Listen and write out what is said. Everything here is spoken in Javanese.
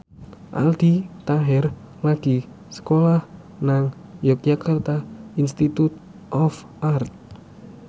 Aldi Taher lagi sekolah nang Yogyakarta Institute of Art